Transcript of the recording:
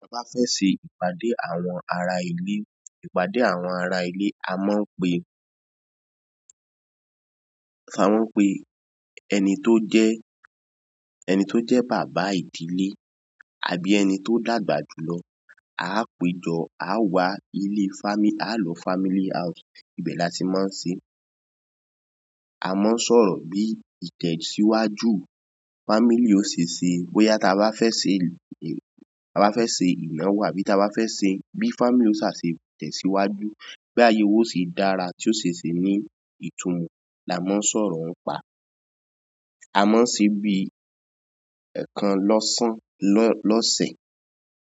Tí a bá fẹ́ ṣe ìpàdé àwọn ará ilé, ìpàdé àwọn ará ilé, a máa ń pe, a máa ń pe ẹni tó jẹ́, ẹni tó jẹ́ bàbá ìdílé àbí ẹni tó dàgbà jù lọ. A o péjọ, a wá ilé family, a o lọ family house. Ibẹ̀ ni a ti máa ń ṣe, a máa ń sọ̀rọ̀ bí ìtẹ̀síwájú family ó ṣe ṣe, bóyá tí a bá fẹ́ ṣe, tí a bá fẹ́ ṣe ìnáwó àbí tí a bá fẹ́ ṣe bí family ó ṣà ṣe tẹ̀síwájú, bí ayé wa yóò se dára tí ó ṣe ṣi ní ìtumọ̀ la máa ń sọ̀rọ̀ ń pa. A máa ń ṣe bí ẹẹkan lọ́sàn lọ́sẹ̀.